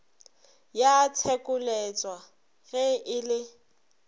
ya tshekoleswa ge e le